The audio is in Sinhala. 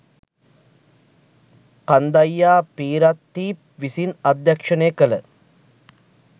කන්දයියා පිරන්තීප් විසින් අධ්‍යක්ෂණය කල